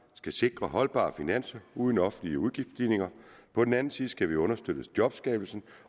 skal sikre holdbare finanser uden offentlige udgiftsstigninger på den anden side skal vi understøtte jobskabelsen